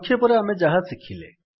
ସଂକ୍ଷେପରେ ଆମେ ଯାହା ଶିଖିଲେ